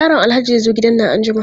Yaron Alhaji zai zo gidan nan anjima.